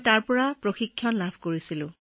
তাতে প্ৰশিক্ষণ লৈছিলো